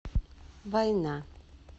война